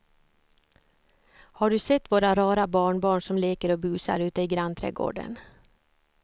Har du sett våra rara barnbarn som leker och busar ute i grannträdgården!